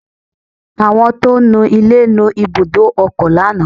Àwọn tó ń nu ilẹ̀ nu ibùdó ọkọ̀ lánàá